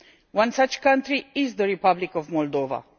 One such country is the Republic of Moldova.